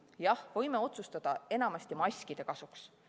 Jah, võime otsustada maskide kasuks.